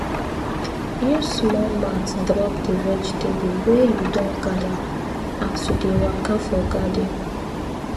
use small mat drop the vegetable wey you don gather as you dey waka for garden